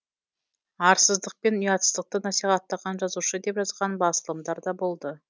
арсыздықпен ұятсыздықты насихаттаған жазушы деп жазған басылымдар да болды